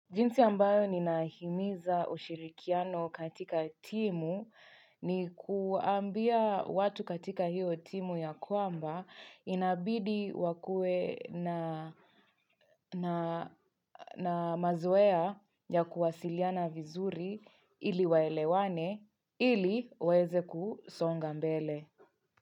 Jinsi ambayo ninahimiza ushirikiano katika timu ni kuambia watu katika hiyo timu ya kwamba inabidi wakue na na mazoea ya kuwasiliana vizuri ili waelewane ili waweze kusonga mbele.